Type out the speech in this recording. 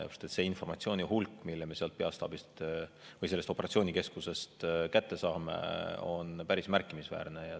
Selle informatsiooni hulk, mida me sealt operatsioonikeskusest saame, on päris märkimisväärne.